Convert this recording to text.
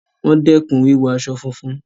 Wọ́n dẹkùn wíwọ aṣọ funfun.